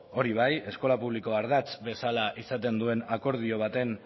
hori bai eskola publikoa ardatz bezala izaten duen akordio